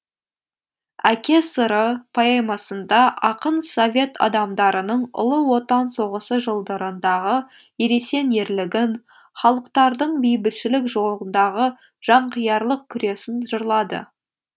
әке сыры поэмасында ақын совет адамдарының ұлы отан соғысы жылдарындағы ересен ерлігін халықтардың бейбітшілік жолындағы жанқиярлық күресін жырлады